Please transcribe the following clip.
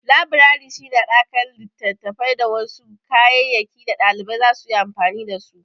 Labirari shi ne haɗakar littattafai da wasu kayayyaki da ɗalibai zasu yi amfani da su.